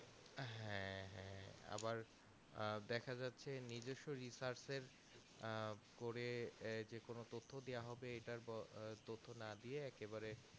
হ্যাঁ এ এ আবার আহ দেখা যাচ্ছে নিজেস্ব research এর আহ করে যেকোনো তত্ত্ব দিয়া হবে এটার ওপ তত্ত্ব না দিয়ে